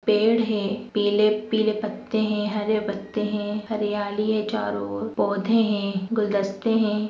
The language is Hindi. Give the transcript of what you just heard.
पेड़ है पीले पीले पत्ते है हरे पत्ते है हरियाली है चारों ओर पौधे है गुलदस्ते है।